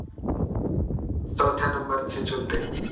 चौथ्या number चे चुलते